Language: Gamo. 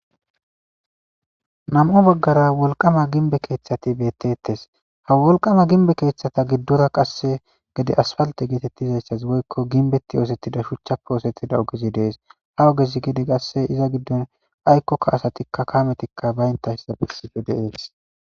Nam7o baggara wolqama ginbe keeththati beettettes ha wolqama ginbe keeththata giddora qasse gede asfalte geetettizayssas woykko ginbetti oosettida shuchchape oosettida ogezi dees ha ogezi gede qasse iza giddon aykkokka asatikka kaametikka baynta hista bessife de ees.